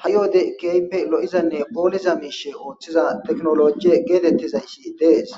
ha7i wode kehippe lo7izanne phooliza miishe ooththiza teknoloje geetettizayssi dees